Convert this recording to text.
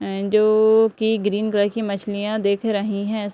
की green colour की मछलियाँ दिख रही है |